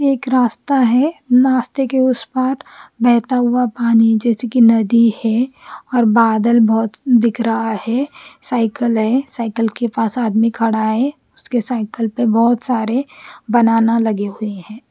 ये एक रास्ता है नास्ते के उस पार बहत ा हुआ पानी जेसे की नदी है और बादल बोहोत दिख रहा है साईकल है साईकल के पास आदमी खड़ा है उसकी साईकल पे बोत सारे बनाना लगे हुए है।